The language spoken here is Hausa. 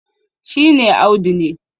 shi ne Audu ne